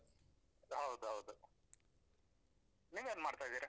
ಹೌದೌದು, ನೀವ್ ಏನ್ ಮಾಡ್ತಾ ಇದ್ದೀರಾ?